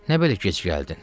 Nə belə gec gəldin?